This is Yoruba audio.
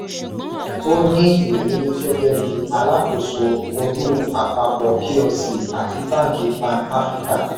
ó ní irírí gẹ́gẹ́ bí alákóso olú àpapọ̀ plc àti banki pan áfíríkà.